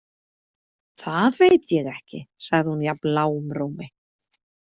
Það veit ég ekki, sagði hún jafn lágum rómi.